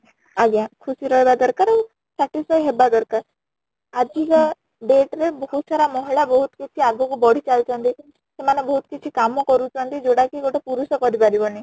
ଆଜ୍ଞା ଖୁସି ରେ ରହିବା ଦରକାର ଆଉ satisfy ହେବା ଦରକାର ଆଜିକା date ରେ ବହୁତ ସାରା ମହିଳା ବହୁତ କିଛି ଆଗକୁ ବଢି ଚାଲି ଛନ୍ତି ସେମାନେ ବହୁତ କିଛି କାମ କରୁଛନ୍ତି ଯୋଉଟା କି ଗୋଟେ ପୁରୁଷ କରି ପାରିବନି